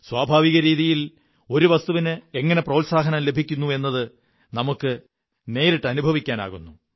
സ്വാഭാവിക രീതിയിൽ ഒരു വസ്തുവിന് എങ്ങനെ പ്രോത്സാഹനം ലഭിക്കുന്നു എന്നത് നമുക്ക് നേരിട്ടനുഭവിക്കാനാകുന്നു